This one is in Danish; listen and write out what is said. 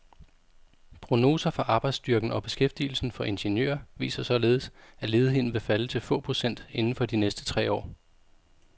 Prognoser for arbejdsstyrken og beskæftigelsen for ingeniører viser således, at ledigheden vil falde til få procent inden for de næste tre år.